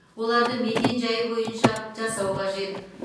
оларды мекенжай бойынша жасау қажет